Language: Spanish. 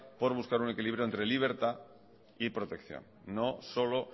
por buscar un equilibrio entre libertad y protección no solo